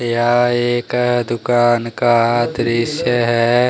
यह एक दुकान का दृश्य है।